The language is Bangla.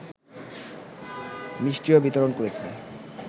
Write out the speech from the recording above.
মিষ্টিও বিতরণ করেছে।